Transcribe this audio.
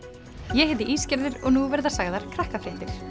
ég heiti og nú verða sagðar Krakkafréttir